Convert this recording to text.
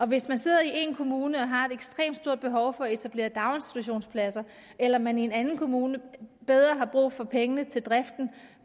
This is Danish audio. hvis man sidder i en kommune og har et ekstremt stort behov for at etablere daginstitutionspladser eller man i en anden kommune har mere brug for pengene til driften